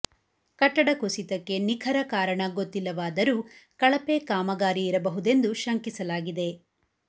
ಕಟ್ಟಡ ಕುಸಿತಕ್ಕೆ ನಿಖರ ಕಾರಣ ಗೊತ್ತಿಲ್ಲವಾದರೂ ಕಳಪೆ ಕಾಮಗಾರಿ ಇರಬಹುದೆಂದು ಶಂಕಿಸಲಾಗಿದೆ